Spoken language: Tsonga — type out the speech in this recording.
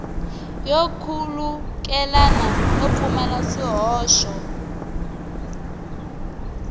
yo khulukelana no pfumala swihoxo